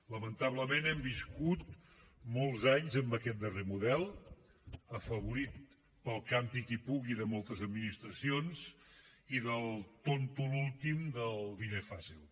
lamentablement hem viscut molts anys amb aquest darrer model afavorit pel campi qui pugui de moltes administracions i del tonto l’últim del diner fàcil